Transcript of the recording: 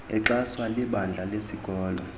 exhaswa libandla lesikolo